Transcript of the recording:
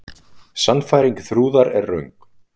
Sannfæring Þrúðar er röng.